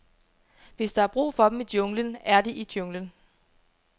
Hvis der er brug for dem i junglen, er de i junglen.